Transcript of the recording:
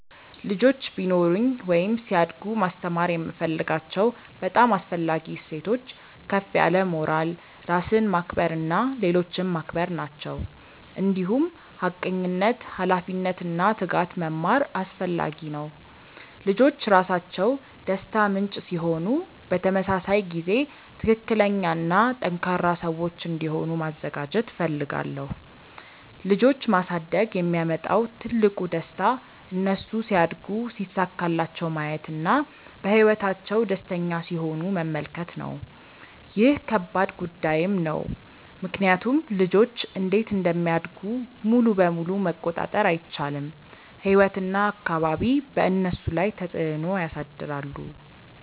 ልጆች ቢኖሩኝ ወይም ሲያድጉ ማስተማር የምፈልጋቸው በጣም አስፈላጊ እሴቶች ከፍ ያለ ሞራል፣ ራስን ማክበር እና ሌሎችን ማክበር ናቸው። እንዲሁም ሐቀኝነት፣ ኃላፊነት እና ትጋት መማር አስፈላጊ ነው። ልጆች ራሳቸው ደስታ ምንጭ ሲሆኑ በተመሳሳይ ጊዜ ትክክለኛ እና ጠንካራ ሰዎች እንዲሆኑ ማዘጋጀት እፈልጋለሁ። ልጆች ማሳደግ የሚያመጣው ትልቁ ደስታ እነሱ ሲያድጉ ሲሳካላቸው ማየት እና በህይወታቸው ደስተኛ ሲሆኑ መመልከት ነው። ይህ ከባድ ጉዳይም ነው ምክንያቱም ልጆች እንዴት እንደሚያድጉ ሙሉ በሙሉ መቆጣጠር አይቻልም፤ ህይወት እና አካባቢ በእነሱ ላይ ተፅዕኖ ያሳድራሉ።